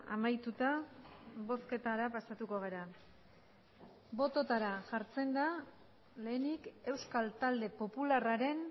amaituta bozketara pasatuko gara bototara jartzen da lehenik euskal talde popularraren